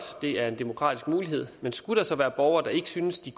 det er en demokratisk mulighed og skulle der så være borgere der ikke synes de